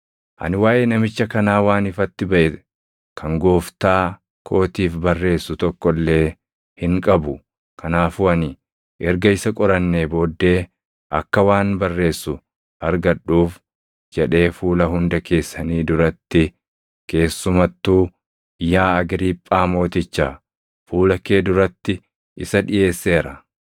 Ani waaʼee namicha kanaa waan ifatti baʼe kan gooftaa kootiif barreessu tokko illee hin qabu; kanaafuu ani erga isa qorannee booddee akka waan barreessu argadhuuf jedhee fuula hunda keessanii duratti, keessumattuu yaa Agriiphaa mooticha, fuula kee duratti isa dhiʼeesseera.